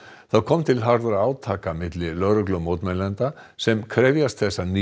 það kom til harðra átaka milli lögreglu og mótmælenda sem krefjast þess að ný